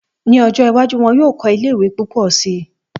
Ní ọjọ́ iwájú, wọn yóò kọ́ ilé ìwé púpọ̀ si